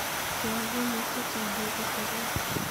Kee kumik chechang' koipu seriat